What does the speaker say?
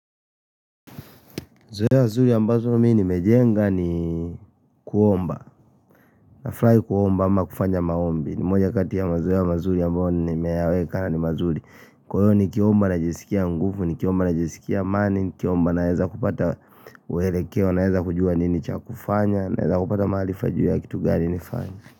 Zoea zuri ambazo mimi nimejenga ni kuomba. Nafurahi kuomba ama kufanya maombi, ni moja kati ya mazoea mazuri ambao nimeyaweka ni mazuri. Kwa hiyo nikiomba najisikia nguvu, nikiomba najisikia amani, nikiomba naweza kupata mwelekeo, naeza kujua nini cha kufanya naeza kupata mahali sipajui ya kitu gani nifanye.